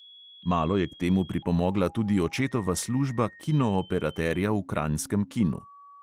Malo je k temu pripomogla tudi očetova služba kinooperaterja v kranjskem kinu.